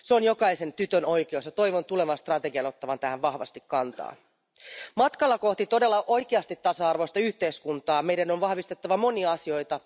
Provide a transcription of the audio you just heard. Se on jokaisen tytön oikeus, ja toivon tulevan strategian ottavan tähän vahvasti kantaa. Matkalla kohti todella oikeasti tasa arvoista yhteiskuntaa meidän on vahvistettava monia asioita.